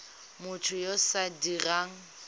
motho yo o sa dirang